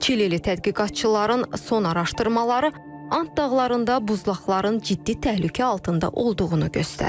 Çilili tədqiqatçıların son araşdırmaları And dağlarında buzlaqların ciddi təhlükə altında olduğunu göstərir.